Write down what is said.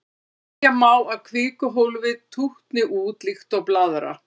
Segja má að kvikuhólfið tútni út líkt og blaðra.